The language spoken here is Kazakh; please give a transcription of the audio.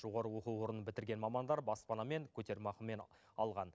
жоғары оқу орнын бітірген мамандар баспанамен көтерме ақымен алған